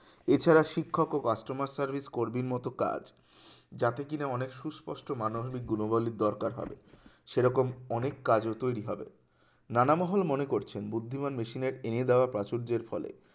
যারা শিক্ষক ও customer service কর্মীর মত কাজ যাতে কিনা অনেক সুস্পষ্ট মানো ভাবিক গুণো বলির দরকার হবে সেরকম অনেক কাজও তৈরি হবে নানামহল মনে করছেন বুদ্ধিমান মেশিনের এনে দেওয়া প্রাচুর্যের ফলে